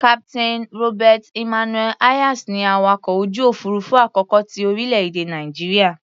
Captain Robert Emmanuel Hayes ni awakọ̀ ojú òfuurufú àkọ́kọ́ ti orílẹ̀-èdè Nàìjíríà.